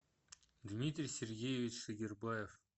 дмитрий сергеевич шегербаев